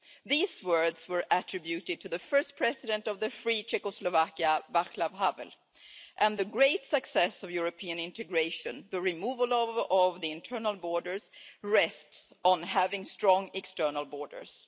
These words were attributed to the first president of the free Czechoslovakia, Václav Havel, and the great success of European integration the removal of the internal borders rests on having strong external borders.